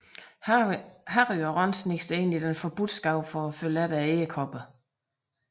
Harry og Ron sniger sig ind i Den Forbudte Skov for at følge edderkopperne